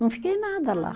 Não fiquei nada lá.